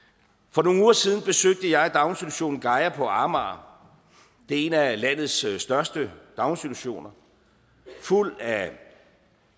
for nogle uger siden besøgte jeg daginstitutionen gaia på amager det er en af landets største daginstitutioner fuld af